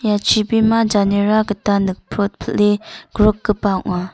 ia chibima janera gita nikprotpile grikgipa ong·a.